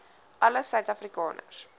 alle suid afrikaners